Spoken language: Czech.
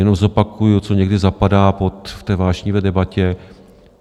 Jenom zopakuji, co někdy zapadá v té vášnivé debatě.